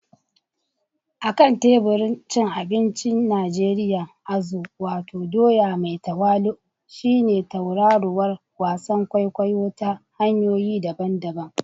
A kan teburin cin abinci na Najeriya, azu, wato doya mai tawali'u, shine tauraruwar wasan kwaikwayo ta hanyoyi daban-daban.